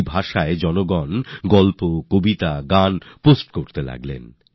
এভাবেই লোকেরা গল্প কবিতা গান পোস্ট করতে লাগলেন